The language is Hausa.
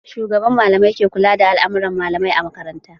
Shugaban malamai ke kula da all'amuran malamai a makaranta